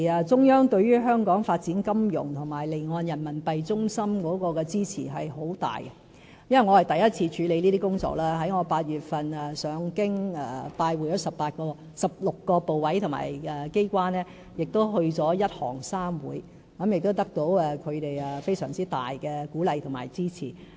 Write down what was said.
中央對於香港發展金融及作為離岸人民幣業務中心有很大的支持，因為我是第一次處理這些工作，我在8月曾赴京拜會16個部委及機關，亦曾前往"一行三會"，得到他們非常大的鼓勵及支持。